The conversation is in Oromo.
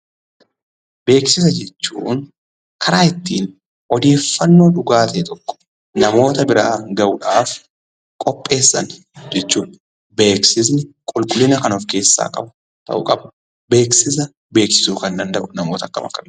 Beeksisa jechuun karaa ittiin odeeffannoo dhugaa ta'e tokko namoota biraan ga'uudhaaf qopheessan jechuudha. Beeksisni qulqullina kan of keessaa qabu ta'uu qaba. Beeksisa beeksisuu kan danda'u namoota akkam akkamiiti?